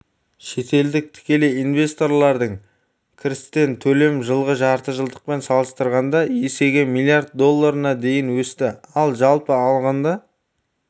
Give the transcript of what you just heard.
шетелдік тікелей инвесторлардың кірістерін төлеу жылғы жартыжылдықпен салыстырғанда есеге млрд долларына дейін өсті ал жалпы алғанда